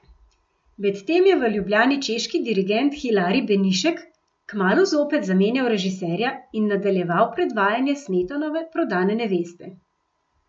Medtem je v Ljubljani češki dirigent Hilarij Benišek kmalu zopet zamenjal režiserja in nadaljeval predvajanje Smetanove Prodane neveste.